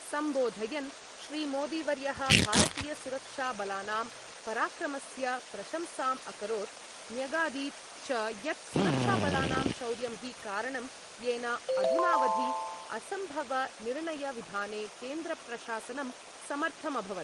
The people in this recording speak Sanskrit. सम्बोधयन् श्रीमोदीवर्यः भारतीयसुरक्षाबलानां पराक्रमस्य प्रशंसाम् अकरोत् न्यगादीत् च यत् सुरक्षाबलानां शौर्यं हि कारणं येन अधुनावधि असम्भवनिर्णयविधाने केन्द्रप्रशासनं समर्थमभवत्।